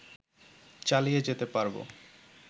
চালিয়ে যেতে পারবো